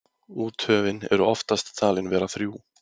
úthöfin eru oftast talin vera þrjú